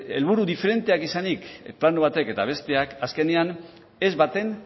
helburu diferenteak izanik plano batek eta besteak azkenean ez baten